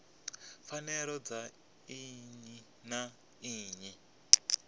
pfanelo dza nnyi na nnyi